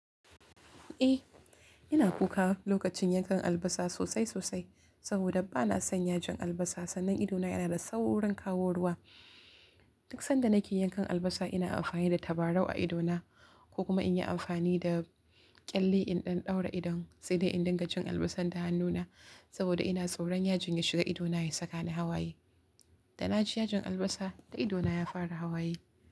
Eh, ina kuka lokacin yankan albasa sosai sosai saboda ba na son yajin albasa. Sannan idona yana da saurin kaworuwa. Duk sanda nake yankan albasa ina amfani da tabarau a idona ko kuma in yi amfani da ƙyalli in ɗan ɗaura idon sai dai in dinga jin albasar ta hannuna saboda ina tsoron yajin ya shiga idona ya saka ni hawaye. Da na ji yajin albasa, da idona ya fara hawaye.